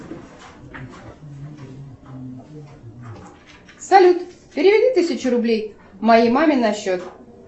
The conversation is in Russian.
салют переведи тысячу рублей моей маме на счет